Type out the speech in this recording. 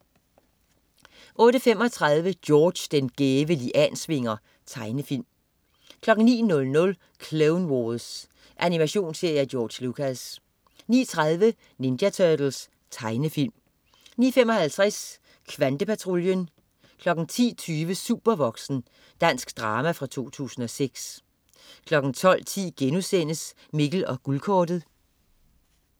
08.35 George den gæve Liansvinger. Tegnefilm 09.00 Clone Wars. Animationsserie af George Lucas 09.30 Ninja Turtles. Tegnefilm 09.55 Kvantepatruljen 10.20 Supervoksen. Dansk drama fra 2006 12.10 Mikkel og Guldkortet*